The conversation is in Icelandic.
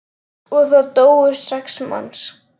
Og það dóu sex manns.